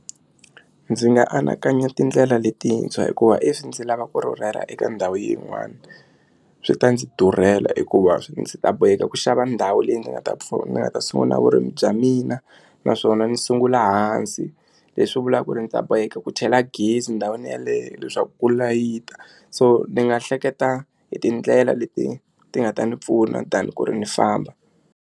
Ndzi nga anakanya tindlela letintshwa hikuva if ndzi lava ku rhurhela eka ndhawu yin'wani swi ta ndzi durhela hikuva ndzi ta boheka ku xava ndhawu leyi ni nga ta pfuna ni nga ta sungula vurimi bya mina naswona ni sungula hansi leswi vulaka ku ri ndzi ta boheka ku chela gezi endhawini yeleyo leswaku ku layita so ni nga hleketa hi tindlela leti ti nga ta ni pfuna than ku ri ni famba.